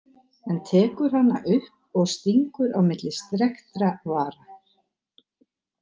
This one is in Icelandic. En tekur hana upp og stingur á milli strekktra vara.